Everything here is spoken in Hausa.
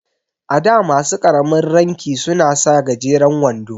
A da masu ƙaramin ranki suna sa gajeren wando.